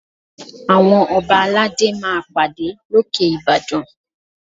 Àwọn Ọba aládé máa pàdé lókè Ìbàdàn